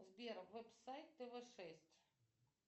сбер веб сайт тв шесть